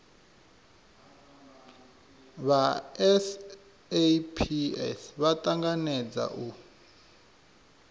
vha saps vha tanganedza u